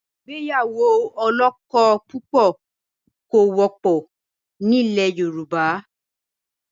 Ìgbéyàwó ọlọ́kọ̀púpọ̀ kò wọ́pọ̀ ni ilẹ̀ Yorùbá.